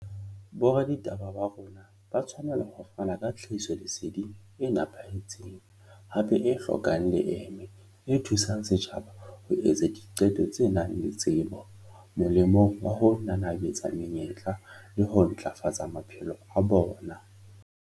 Boraditaba ba rona ba tshwanela ho fana ka tlhahisoleseding e nepahetseng, hape e hlokang leeme, e thu sang setjhaba ho etsa diqeto tse nang le tsebo, molemong wa ho nanabetsa menyetla le ho ntlafatsa maphelo a bona.